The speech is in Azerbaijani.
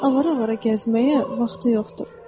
Onun avara-avara gəzməyə vaxtı yoxdur.